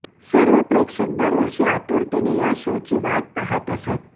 सर्व प्रेक्षक दरवर्षी आतुरतेने या शो ची वाट पाहत असतात